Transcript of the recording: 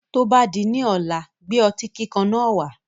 Tó bá di ọ̀la, gbé otí kíkan náà wá.